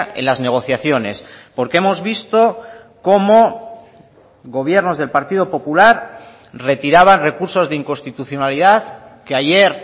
en las negociaciones porque hemos visto como gobiernos del partido popular retiraban recursos de inconstitucionalidad que ayer